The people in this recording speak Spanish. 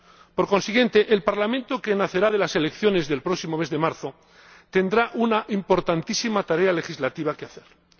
Por consiguiente, el Parlamento que nacerá de las elecciones del próximo mes de marzo tendrá una importantísima tarea legislativa que desarrollar.